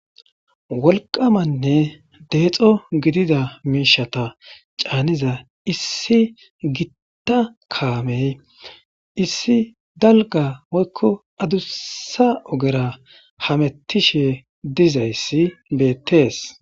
Wolqamanne deexo gidida miishata caaniza issi gitta kaamey issi dalga moykko adussa ogera hamettishe dizayssi beettees.